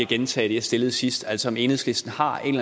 gentage det jeg stillede sidst altså om enhedslisten har en